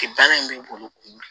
Baara in b'i bolo